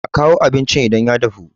a kawo abincin idan ya dahu!